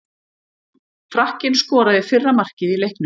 Frakkinn skoraði fyrra markið í leiknum.